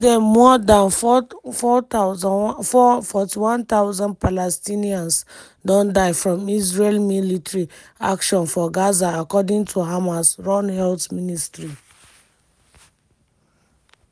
since den more dan 41000 palestinians don die from israeli military action for gaza according to hamas-run health ministry.